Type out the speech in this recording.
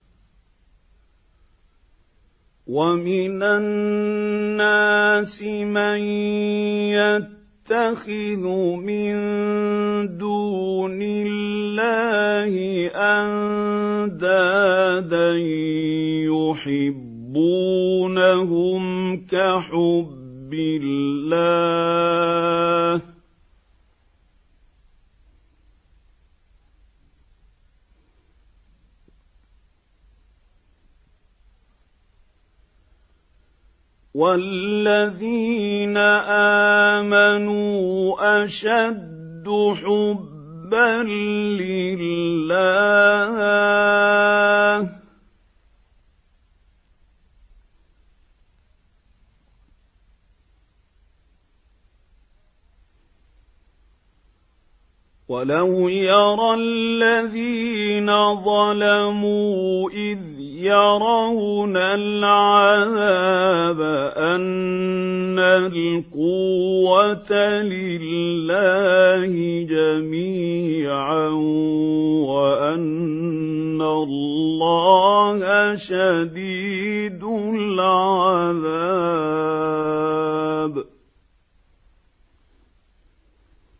وَمِنَ النَّاسِ مَن يَتَّخِذُ مِن دُونِ اللَّهِ أَندَادًا يُحِبُّونَهُمْ كَحُبِّ اللَّهِ ۖ وَالَّذِينَ آمَنُوا أَشَدُّ حُبًّا لِّلَّهِ ۗ وَلَوْ يَرَى الَّذِينَ ظَلَمُوا إِذْ يَرَوْنَ الْعَذَابَ أَنَّ الْقُوَّةَ لِلَّهِ جَمِيعًا وَأَنَّ اللَّهَ شَدِيدُ الْعَذَابِ